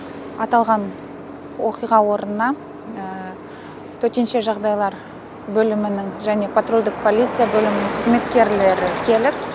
аталған оқиға орнына төтенше жағдайлар бөлімінің және патрульдік полиция бөлімінің қызметкерлері келіп